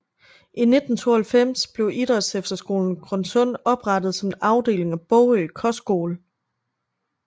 I 1992 blev Idrætsefterskolen Grønsund oprettet som en afdeling af Bogø Kostskole